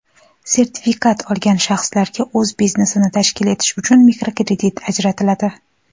sertifikat olgan shaxslarga o‘z biznesini tashkil etish uchun mikrokredit ajratiladi.